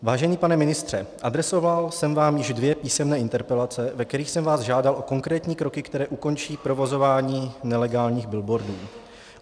Vážený pane ministře, adresoval jsem vám už dvě písemné interpelace, ve kterých jsem vás žádal o konkrétní kroky, které ukončí provozování nelegálních billboardů.